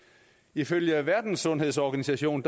ifølge verdenssundhedsorganisationen